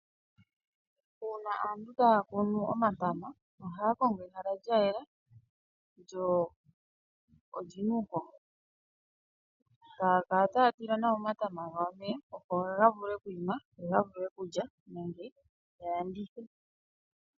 Uuna aantu taya kunu omatama ohaya kongo ehala lya yela lyo oli na uuhoho haya kala taya tile omatama gawo omeya opo ga vule oku ima yo ya vule okulya nenge ya landithe.